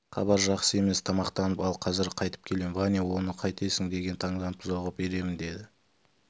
хабар жақсы емес тамақтанып ал қазір қайтып келем ваня оны қайтесің деген таңданып бұзауға беремін деді